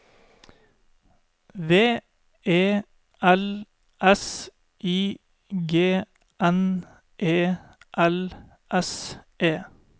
V E L S I G N E L S E